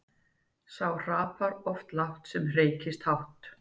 Sá hrapar oft lágt sem hreykist hátt.